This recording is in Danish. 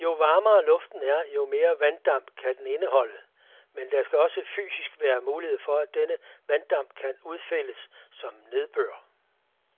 Jo varmere luften er, jo mere vanddamp kan den indholde, men der skal også fysisk være mulighed for, at denne vanddamp kan udfældes som nedbør.